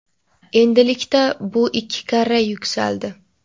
endilikda bu ikki karra yuksaldi.